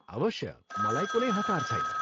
अवश्य, मलाई कुनै हतार छैन।